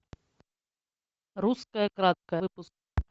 русское краткое выпуск